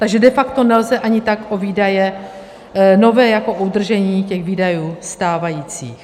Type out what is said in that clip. Takže de facto nejde ani tak o výdaje nové jako o udržení těch výdajů stávajících.